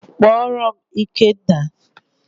Kpọọrọ m Ikenna!